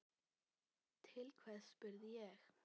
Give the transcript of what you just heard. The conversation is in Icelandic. Til hvers, spurði ég.